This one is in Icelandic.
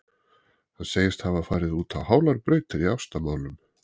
Hann segist hafa farið út á hálar brautir í ástamálum.